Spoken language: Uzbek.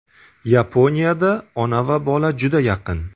Yaponiyada ona va bola juda yaqin.